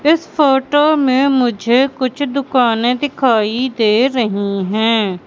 इस फोटो में मुझे कुछ दुकानें दिखाई दे रही हैं।